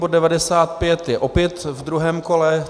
Bod 95 je opět v druhém kole.